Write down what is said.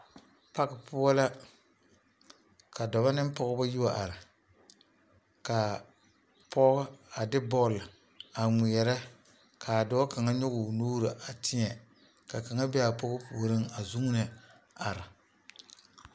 parki poɔ la ka dɔba ne pɔgeba a yi wa are, kaa pɔge a de bɔl a ŋmeɛre kaa dɔɔ kaŋa nyɔge o nuuri a teɛ ka kaŋa be a pɔge puoriŋ a zuune are.